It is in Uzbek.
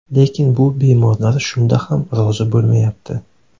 Lekin bu bemorlar shunda ham rozi bo‘lmayapti”.